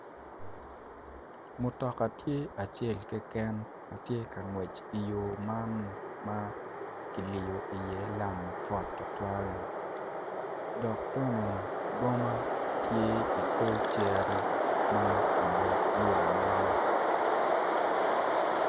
Mutoka tye acel keken ma tye ka ngwec i yo man ma ma kiliyo iye lam mapwot tutwalli dok bene boma tye i kor cere ma i but yo man.